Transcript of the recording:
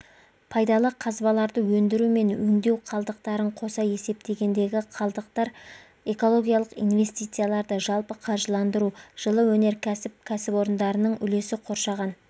пайдалы қазбаларды өндіру мен өңдеу қалдықтарын қоса есептегендегі қалдықтар экологиялық инвестицияларды жалпы қаржыландыру жылы өнеркәсіп кәсіпорындарының үлесі қоршаған